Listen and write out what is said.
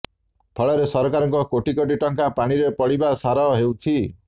ଫଳରେ ସରକାରଙ୍କ କୋଟି କୋଟି ଟଙ୍କା ପାଣିରେ ପଡିବା ସାର ହେଉଛି